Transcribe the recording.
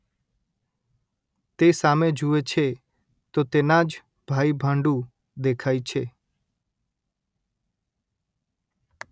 તે સામે જુએ છે તો તેના જ ભાઈભાંડુ દેખાય છે